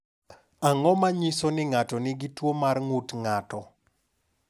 Ang’o ma nyiso ni ng’ato nigi tuwo mar ng’ut ng’ato?